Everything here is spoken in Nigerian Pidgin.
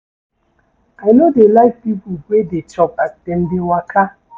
I no dey like pipo wey dey chop as dem dey waka.